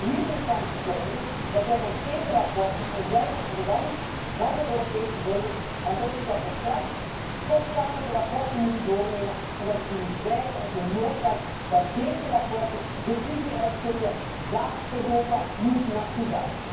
Dus hier nu staan verkondigen dat wij met deze verslagen voorbijgaan aan de wens van de Europese burgers, dan denk ik dat we straks toch samen de verslagen moeten doornemen en dat ik u moet wijzen op de noodzaak dat deze verslagen de visie uitstippelen waar Europa naartoe